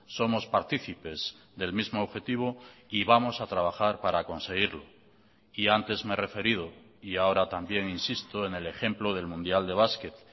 somos partícipes del mismo objetivo y vamos a trabajar para conseguirlo y antes me he referido y ahora también insisto en el ejemplo del mundial de basket